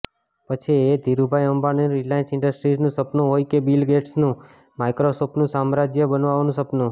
પછી એ ધીરુભાઈ અંબાણીનું રિલાયન્સ ઈન્ડ્સ્ટ્રીઝનું સપનુ હોય કે બિલ ગેટ્સનું માઈક્રોસોફટનું સામ્રાજ્ય બનાવવાનું સપનું